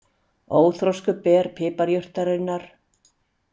Óþroskuð ber piparjurtarinnar.